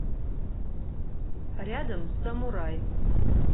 рядом самурай